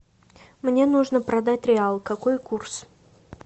мне нужно продать реал какой курс